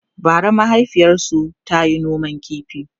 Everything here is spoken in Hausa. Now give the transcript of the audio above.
bara mahaifiyarsu tayi noman ƙifi